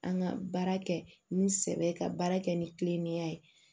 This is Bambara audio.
An ka baara kɛ ni sɛbɛ ye ka baara kɛ ni kilennenya ye